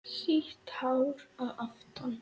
Sítt hár að aftan.